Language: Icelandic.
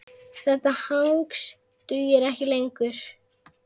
Þetta hangs dugir ekki lengur.